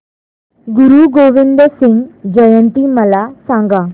गुरु गोविंद सिंग जयंती मला सांगा